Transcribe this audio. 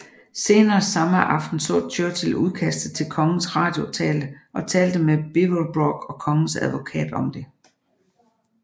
Senere samme aften så Churchill udkastet til kongens radiotale og talte med Beaverbrook og kongens advokat om det